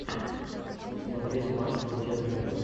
смотреть матч манчестер юнайтед